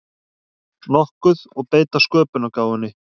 nokkuð og beita sköpunargáfunni.